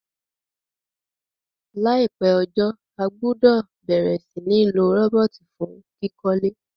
Láìpé ojó, a gbúdò bẹ̀rẹ̀ si ni lo robot fun kíkólé